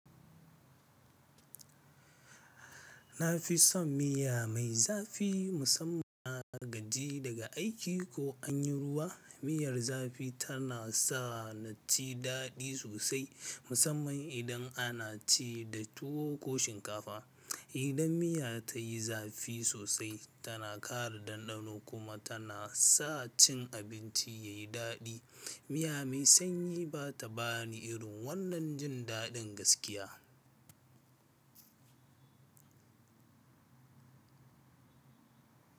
Na fi son miya mai zafi musamman na gaji daga aiki ko an yi ruwa. Miyar zafi tana sa naji daɗi sosai musamman idan ana ci da tuwo ko shinkafa. Idan miya ta yi zafi sosai tana ƙara ɗanɗano kuma tana sa cin abinci ya yi daɗi. Miya mai sanyi ba ta ba ni irin wannan jin daɗin gaskiya.